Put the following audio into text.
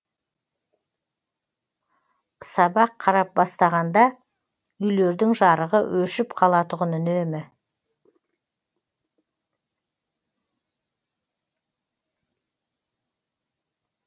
сабақ қарап бастағанда үйлердің жарығы өшіп қалатұғын үнемі